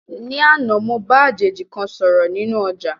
Ní àná, mo bá àjèjì kan sọ̀rọ̀ nínú ọ̀jà